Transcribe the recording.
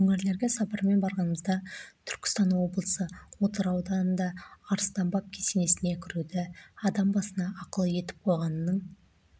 өңірлерге сапармен барғанымызда түркістан облысы отырар ауданында арыстан баб кесенесіне кіруді адам басына ақылы етіп қойғанның